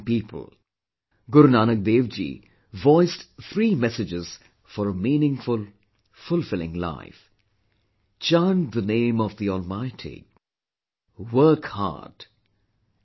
Guru Nanak Dev ji voiced three messages for a meaningful, fulfilling life Chant the name of the Almighty, work hard and help the needy